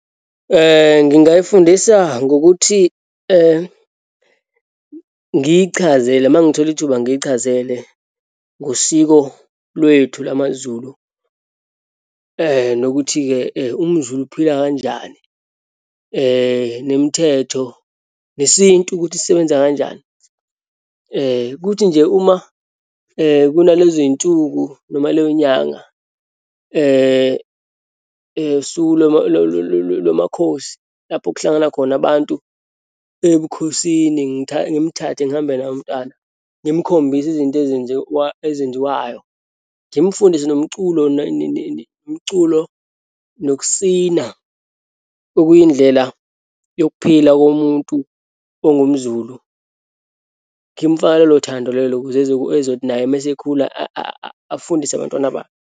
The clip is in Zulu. Ngingayifundisa ngokuthi ngiyichazela, uma ngithola ithuba ngiyichazele ngosiko lwethu lamaZulu. Nokuthi-ke umZulu uphila kanjani, nemithetho, nesintu ukuthi sisebenza kanjani. Kuthi nje uma kunalezi nsuku noma leyo nyanga usuku lwamakhosi, lapho kuhlangana khona abantu ebukhosini, ngimthathe, ngihambe naye umntwana, ngimkhombisa izinto ezenziwa, ezenziwayo, ngimfundise nomculo umculo, nokusina, okuyindlela yokuphila komuntu ongumZulu. Ngimfake lolo thando lelo ukuze ezothi naye uma esekhula, afundise abantwana bakhe.